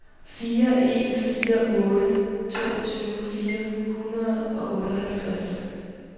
fire en fire otte toogtyve fire hundrede og otteoghalvtreds